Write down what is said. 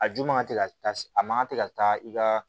A ju man te ka taa a man kan tɛ ka taa i ka